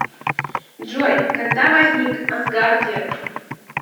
джой когда возник асгардия